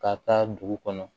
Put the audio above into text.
Ka taa dugu kɔnɔ